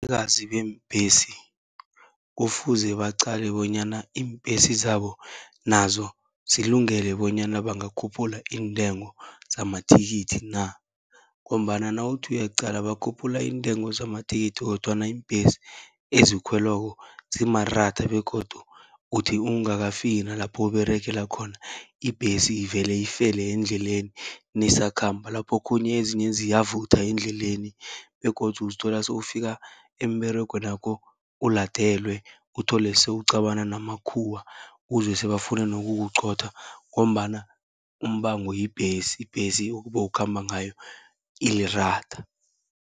Abanikazi beembhesi kufuze baqale bonyana iimbhesi zabo, nazo zilungele bonyana bangakhuphula iintengo zamathikithi na. Ngombana nawuthi uyaqala bakhuphula iintengo zamathikithi, kodwana iimbhesi ezikhwelwako zimaratha begodu uthi ungakafiki nalapho uberegela khona, ibhesi ivele ifele endleleni neyisakhamba. Laphokhunye ezinye ziyavutha endleleni begodu uzithola sewufika emberegwenakho uladelwe, uthole sewucabana namakhuwa uzwe sebafuna nokukuqotha ngombana umbango yibhesi, ibhesi obowukhamba ngayo iliratha.